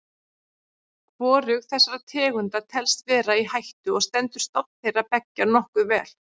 Hvorug þessara tegunda telst vera í hættu og stendur stofn þeirra beggja nokkuð vel.